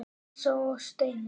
Elsa og Steina.